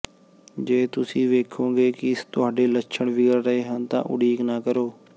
ਜੇ ਤੁਸੀਂ ਵੇਖੋਗੇ ਕਿ ਤੁਹਾਡੇ ਲੱਛਣ ਵਿਗੜ ਰਹੇ ਹਨ ਤਾਂ ਉਡੀਕ ਨਾ ਕਰੋ